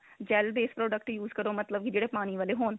gel base product use ਕਰੋ ਮਤਲਬ ਕੀ ਜਿਹੜੇ ਪਾਣੀ ਵਾਲੇ ਹੋਣ